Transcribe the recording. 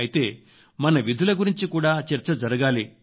అయితే మన విధుల గురించి కూడా చర్చ జరగాలి